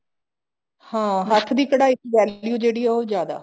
ਹਾਂ ਹੱਥ ਦੀ ਕਢਾਈ ਦੀ value ਜਿਹੜੀ ਹੈ ਉਹ ਜਿਆਦਾ